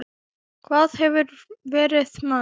Hvar hefurðu verið, maður?